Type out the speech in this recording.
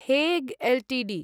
Hague Ltd